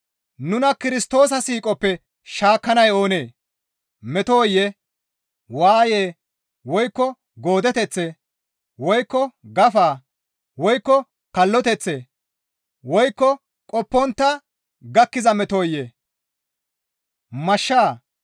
Nuna Kirstoosa siiqoppe shaakkanay oonee? Metoyee? Waayee? Woykko goodeteththee? Woykko gafaa? Woykko kalloteththee? Woykko qoppontta gakkiza metoyee? Mashshaa?